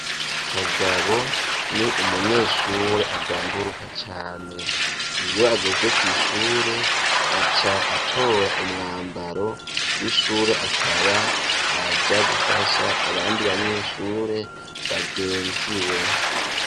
Kagabo ni umunyeshure agamburuka cane. Iyo ageze kw'ishure aca atora umwambaro w'ishure akaba araja gufasha abandi banyeshure bagenziwe.